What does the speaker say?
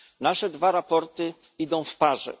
Nasze dwa raporty idą w parze.